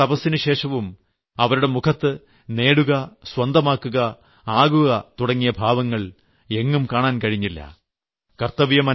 ഇത്രയും വലിയ തപസ്സിനുശേഷവും അവരുടെ മുഖത്ത് നേടുക സ്വന്തമാക്കുക ആകുക തുടങ്ങിയ ഭാവങ്ങൾ എങ്ങും കാണാൻ കഴിഞ്ഞില്ല